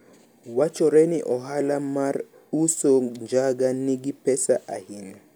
wachore ni ohala mar uso njaga nigi pesa ahinya